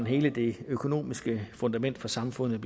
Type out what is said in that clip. hele det økonomiske fundament for samfundet